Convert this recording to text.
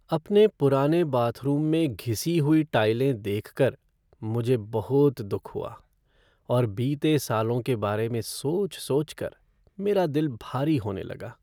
अपने पुराने बाथरूम में घिसी हुई टाइलें देख कर मुझे बहुत दुख हुआ और बीते सालों के बारे में सोच सोच कर मेरा दिल भारी होने लगा।